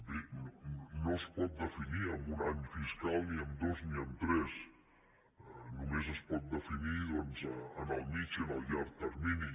bé no es pot definir amb un any fiscal ni amb dos ni amb tres només es pot definir doncs en el mitjà i en el llarg termini